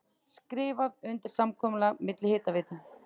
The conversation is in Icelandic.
Skrifað undir samkomulag milli Hitaveitu